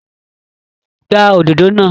Gbá òdodo náà!